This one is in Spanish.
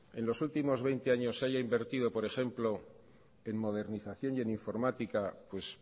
en los últimos veinte años haya invertido por ejemplo en modernización y en informática pues